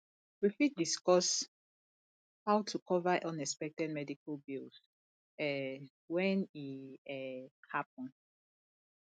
we fit discuss how to cover unexpected medical bills um when e um happen